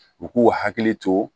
U k'u hakili to